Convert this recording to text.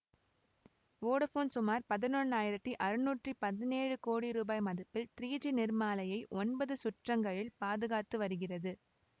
Vodafone சுமார் பதினொன்ஆயிரத்தி அறுநூற்றி பதினேழு கோடி ரூபாய் மதிப்பில் த்ரீ ஜி நிறமாலையை ஒன்பது சுற்றங்களில் பாதுகாத்து வருகிறது